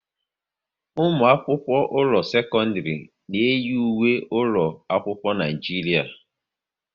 Ụmụ akwụkwọ ụlọ sekọndrị na eyi ùwé ụlọ akwụkwọ n'Naijiria